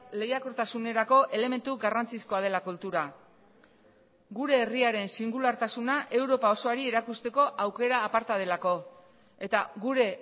lehiakortasunerako elementu garrantzizkoa dela kultura gure herriaren singulartasuna europa osoari erakusteko aukera aparta delako eta gure